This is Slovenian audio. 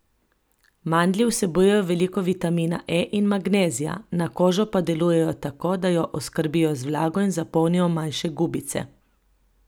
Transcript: Mandlji vsebujejo veliko vitamina E in magnezija, na kožo pa delujejo tako, da jo oskrbijo z vlago in zapolnijo manjše gubice.